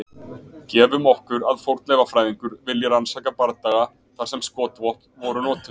Gefum okkur að fornleifafræðingur vilji rannsaka bardaga þar sem skotvopn voru notuð.